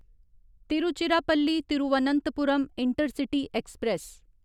Tiruchirappalli Thiruvananthapuram intercity express